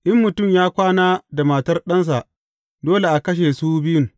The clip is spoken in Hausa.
In mutum ya kwana da matar ɗansa, dole a kashe su biyun.